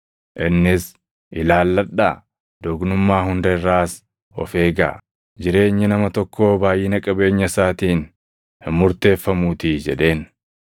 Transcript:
Innis, “Ilaalladhaa! Doqnummaa hunda irraas of eegaa; jireenyi nama tokkoo baayʼina qabeenya isaatiin hin murteeffamuutii” jedheen.